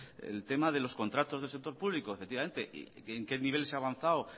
el tema de los contratos del sector público efectivamente en qué nivel se ha avanzado